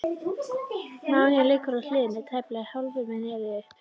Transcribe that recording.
Máninn liggur á hliðinni, tæplega hálfur með nefið upp.